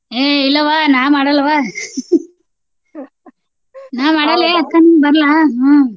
ಏ ಇಲ್ಲವಾ ನಾ ಮಾಡಲ್ಲವ್ವ ನಾ ಅಕ್ಕಾ ನಂಗ್ ಬರಲ್ಲಾ ಹ್ಮ್.